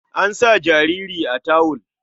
An sa jariri a tawul.